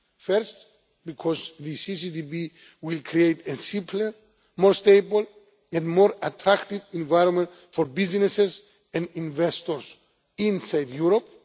First, because the CCCTB will create a simpler, more stable and more attractive environment for businesses and investors inside Europe.